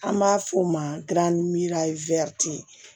An b'a f'o ma